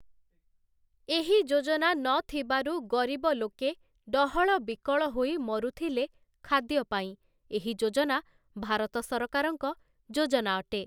ଏହି ଯୋଜନା ନଥିବାରୁ ଗରିବ ଲୋକେ ଡହଳ ବିକଳ ହୋଇ ମରୁଥିଲେ ଖାଦ୍ୟ ପାଇଁ, ଏହି ଯୋଜନା ଭାରତ ସରକାରଙ୍କ ଯୋଜନା ଅଟେ ।